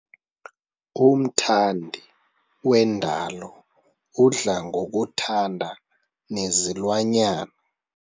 Umthandi wendalo udla ngokuthanda nezilwanyana.